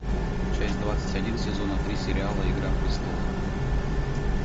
часть двадцать один сезона три сериала игра престолов